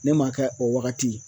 Ne m'a kɛ o wagati